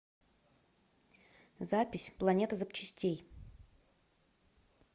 запись планета запчастей